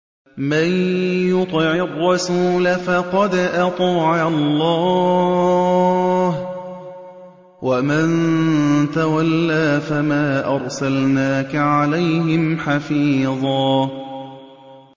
مَّن يُطِعِ الرَّسُولَ فَقَدْ أَطَاعَ اللَّهَ ۖ وَمَن تَوَلَّىٰ فَمَا أَرْسَلْنَاكَ عَلَيْهِمْ حَفِيظًا